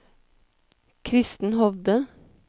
Kristen Hovde